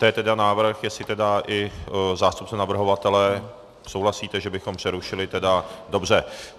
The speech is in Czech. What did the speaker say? To je tedy návrh, jestli tedy i zástupce navrhovatele souhlasíte, že bychom přerušili tedy... dobře.